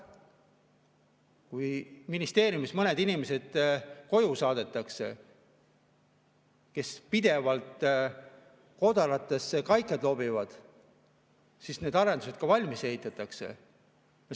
Kui ministeeriumist mõned inimesed, kes pidevalt kodaratesse kaikaid loobivad, koju saadetakse, siis need arendused ehk ka valmis ehitatakse.